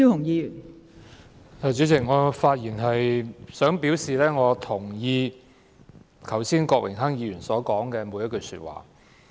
代理主席，我發言是想表示我認同郭榮鏗議員剛才所說的每句話。